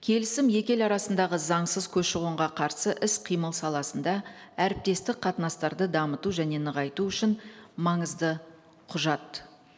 келісім екі ел арасындағы заңсыз көші қонға қарсы іс қимыл саласында әріптестік қатынастарды дамыту және нығайту үшін маңызды құжат